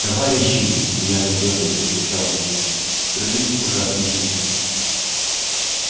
товарищи нервно дёргаясь вскричал он вскрылись ужасные вещи